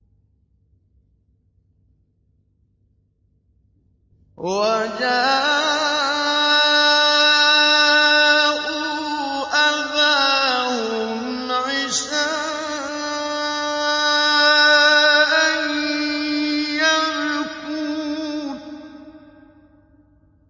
وَجَاءُوا أَبَاهُمْ عِشَاءً يَبْكُونَ